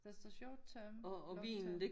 Der står short term long term